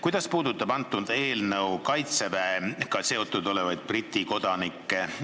Kuidas puudutab see eelnõu Kaitseväega seotud Briti kodanikke?